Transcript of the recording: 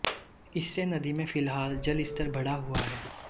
इससे नदी में फिलहाल जल स्तर बढ़ा हुआ है